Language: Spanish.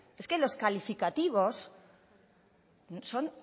es que los calificativos son